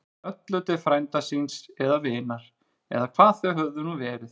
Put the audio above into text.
Höllu til frænda síns. eða vinar. eða hvað þau höfðu nú verið.